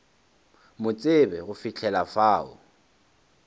mo tsebe go fihla fao